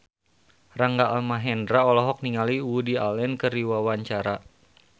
Rangga Almahendra olohok ningali Woody Allen keur diwawancara